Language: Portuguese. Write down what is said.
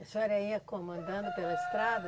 A senhora ia comandando pela estrada?